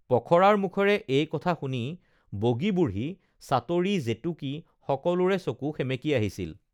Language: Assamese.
পখৰাৰ মুখেৰে এই কথা শুনি বগী বুঢ়ী চাটৰি জেতুকী সকলোৰে চকু সেমেকি আহিছিল